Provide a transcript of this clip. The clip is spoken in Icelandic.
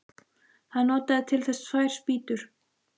Hann notaði til þess tvær spýtur.